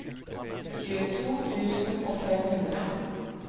tjueto tusen og fem hundre